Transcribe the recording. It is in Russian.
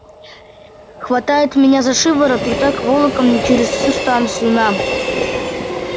хватает меня за шиворот и так волоком через всю станцию на